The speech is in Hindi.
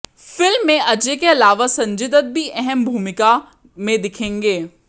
फिल्म में अजय के अलावा संजय दत्त भी अहम भूमिका में दिखेंगे